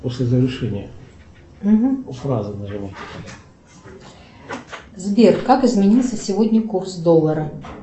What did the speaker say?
сбер как изменился сегодня курс доллара